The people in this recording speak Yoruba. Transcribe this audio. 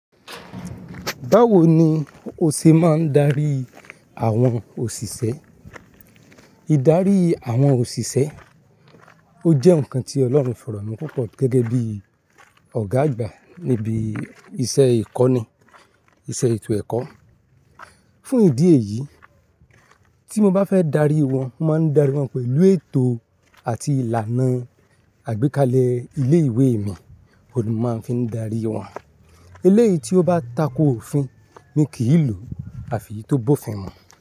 Báwo ni o ṣe máa ń darí àwọn òṣìṣẹ́? Ìdarí àwọn òṣìṣẹ́, ó jẹ́ nǹkan tí Ọlọ́run fọ̀rọ̀ mí púpọ̀ gẹ́gẹ́ bí Ọ̀gá àgbà níbi iṣẹ́ ìkọ́ni, iṣẹ́ ètò ẹ̀kọ́. Fún ìdí èyí, tí mo bá fẹ́ darí wọn, mo máa ń darí wọn pẹ̀lú ètò àti ìlànà àgbékalẹ̀ ilé ìwé mi ni mo máa ń fi darí wọn. Eléyìí tí ó bá tako òfin mi kì í lòó, àfi tó bófin wọn.